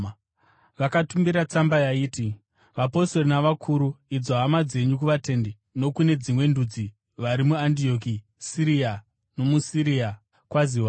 Vakatumira tsamba yaiti: Vapostori navakuru, idzo hama dzenyu, kuvatendi nokune veDzimwe Ndudzi vari muAndioki, Siria nomuSirisia: Kwaziwai.